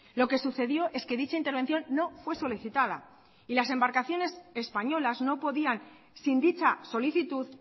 lo que sucedió es que dicha intervención no fue solicitada y las embarcaciones españolas no podían sin dicha solicitud